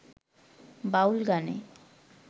বাউল গানে